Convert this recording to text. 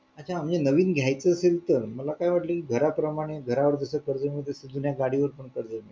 अच्छा म्हणजे नवीन घायचा असेल तर मला काय वाटलं कि घराप्रमाणे घरावर जसे कर्ज मिळते तसे जुन्या गाडीवर पण कर्ज मिळते